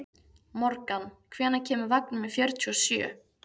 Morgan, hvenær kemur vagn númer fjörutíu og sjö?